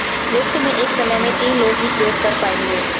lift में एक समय में तीन लोग ही प्रयोग कर पाएंगे